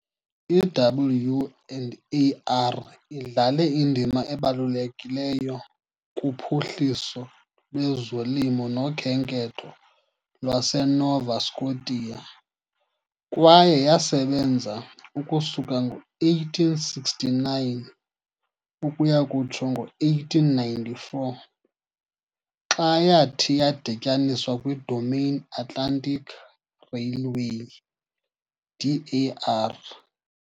I-W and AR idlale indima ebalulekileyo kuphuhliso lwezolimo nokhenketho lwaseNova Scotia kwaye yasebenza ukusuka ngo-1869 ukuya kutsho ngo-1894, xa yathi yadityaniswa kwiDominion Atlantic Railway, DAR.